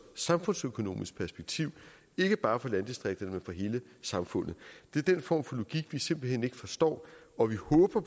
samfundsøkonomisk perspektiv ikke bare for landdistrikterne for hele samfundet det er den form for logik vi simpelt hen ikke forstår og vi håber